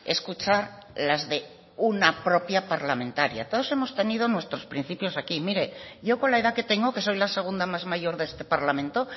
escuchar las de una propia parlamentaria todos hemos tenido nuestros principios aquí mire yo con la edad que tengo que soy la segunda más mayor de este parlamento